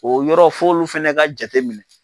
O yɔrɔ f'olu fana ka jateminɛ.